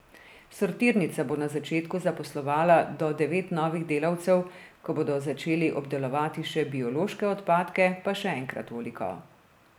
Sortirnica bo na začetku zaposlovala do devet novih delavcev, ko bodo začeli obdelovati še biološke odpadke, pa še enkrat toliko.